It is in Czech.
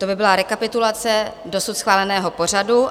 To by byla rekapitulace dosud schváleného pořadu.